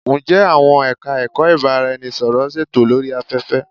Ǹjẹ àwọn Ẹ̀ka-ẹ̀kọ́ ìbárá-ẹni-sọ̀rọ̀ ń ṣètò lórí afẹ́fẹ́?